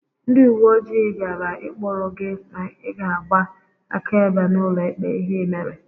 Ndị uwe ojii bịara ịkprụ gị ma ị ga-agba akaebe n'ụlọ ikpe ihe ị mere